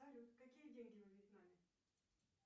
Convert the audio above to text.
салют какие деньги во вьетнаме